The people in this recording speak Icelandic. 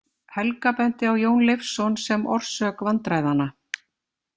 Helga benti á Jón Leifsson sem orsök vandræðanna.